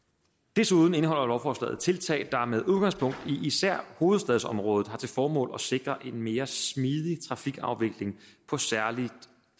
desuden indeholder lovforslaget tiltag der med udgangspunkt i især hovedstadsområdet har til formål at sikre en mere smidig trafikafvikling på særlig